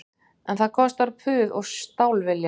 En það kostar puð og stálvilja